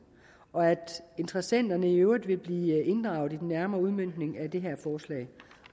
og at interessenterne i øvrigt vil blive inddraget i den nærmere udmøntning af det her forslag